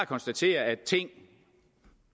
konstatere at ting